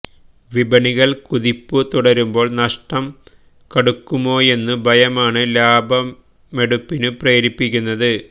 വിപണികള് കുതിപ്പു തുടരുമ്പോള് നഷ്ടം കടുക്കുമൊയെന്ന ഭയമാണ് ലാഭമെടുപ്പിനു പ്രേരിപ്പിക്കുന്നത്